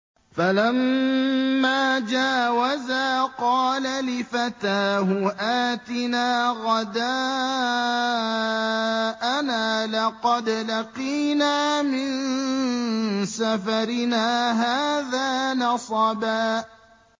فَلَمَّا جَاوَزَا قَالَ لِفَتَاهُ آتِنَا غَدَاءَنَا لَقَدْ لَقِينَا مِن سَفَرِنَا هَٰذَا نَصَبًا